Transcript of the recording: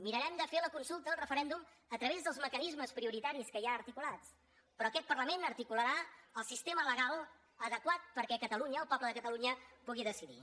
mirarem de fer la consulta el referèndum a través dels mecanismes prioritaris que hi ha articulats però aquest parlament articularà el sistema legal adequat perquè catalunya el poble de catalunya pugui decidir